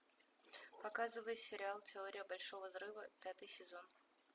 показывай сериал теория большого взрыва пятый сезон